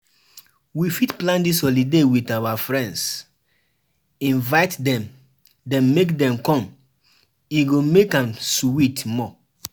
We fit plan dis holiday with our friends, invite dem dem make dem come, e go make am sweet more.